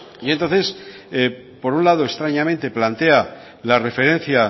y entonces por un lado extrañamente plantea la referencia